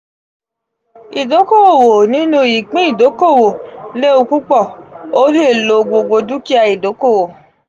idoko-owo ninu ipin idokowo lewu pupọ; o le lo gbogbo dukia idokowo.